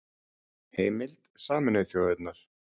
Heimild: Sameinuðu þjóðirnar